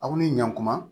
Aw ni ɲankuma